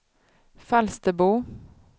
Falsterbo